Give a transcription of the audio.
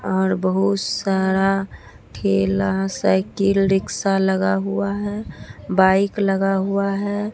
बाहर बहुत सारा ठेला साइकिल रिक्शा लगा हुआ है बाइक लगा हुआ है।